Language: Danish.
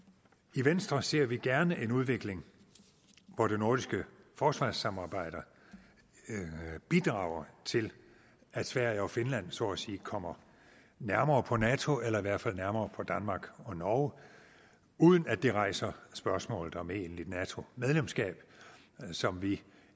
i venstre ser vi gerne en udvikling hvor det nordiske forsvarssamarbejde bidrager til at sverige og finland så at sige kommer nærmere på nato eller i hvert fald nærmere på danmark og norge uden at det rejser spørgsmålet om et egentligt nato medlemskab som vi